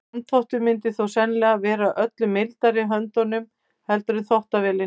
Handþvottur myndi þó sennilega vera öllu mildari meðhöndlun heldur en þvottavélin.